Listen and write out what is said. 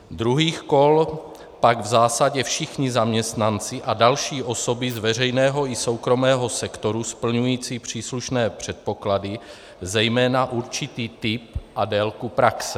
Druhých kol pak v zásadě všichni zaměstnanci a další osoby z veřejného i soukromého sektoru splňující příslušné předpoklady, zejména určitý typ a délku praxe.